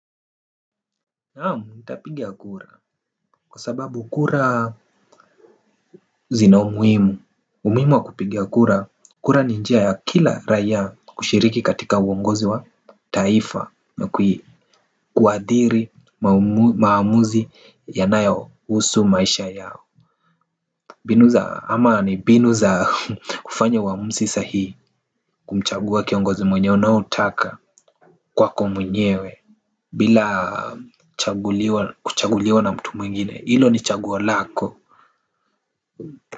Naam nitapiga kura kwa sababu kura zina umuhimu. Umuhimu wa kupiga kura kura ni njia ya kila raia kushiriki katika uongozi wa taifa na kuathiri maamuzi yanayohusu maisha yao mbinu za ama ni mbinu za kufanya uamuzi sahihi kumchagua kiongozi mwenye unaotaka kwako mwenyewe. Bila kuchaguliwa na mtu mwingine hilo ni chagua lako.